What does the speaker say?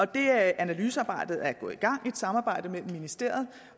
det analysearbejde er gået i gang i et samarbejde mellem ministeriet